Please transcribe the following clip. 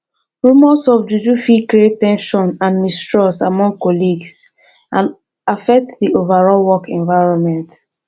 rumors of juju fit create ten sion and mistrust among colleagues and affect di overall work environment